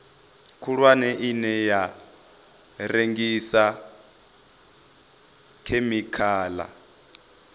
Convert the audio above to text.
khulwane ine ya rengisa khemikhala